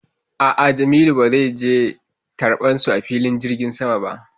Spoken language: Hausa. A'a, Jamilu ba zai je tarbar su a filin jirgin sama ba.